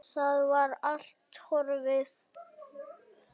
Það var allt horfið!